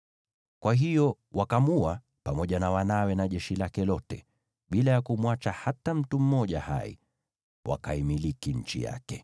Kwa hiyo wakamuua, pamoja na wanawe na jeshi lake lote, bila ya kumwacha hata mtu mmoja hai. Nao wakaimiliki nchi yake.